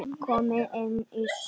Simmi benti á Halla hor.